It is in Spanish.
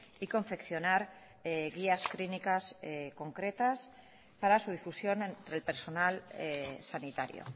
y confeccionar guías clínicas concretas para su difusión entre el personal sanitario